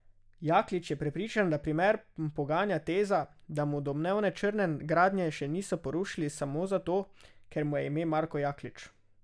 Jaklič je prepričan, da primer poganja teza, da mu domnevne črne gradnje še niso porušili samo zato, ker mu je ime Marko Jaklič.